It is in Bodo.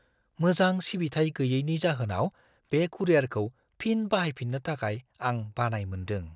मोजां सिबिथाय गोयैनि जाहोनाव बे कुरियारखौ फिन बाहायफिन्नो थाखाय आं बानाय मोन्दों।